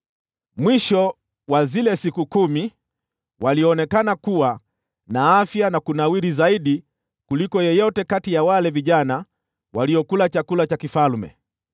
Mwisho wa zile siku kumi, walionekana kuwa na afya na kunawiri zaidi kuliko yeyote kati ya wale vijana waliokula chakula cha mfalme.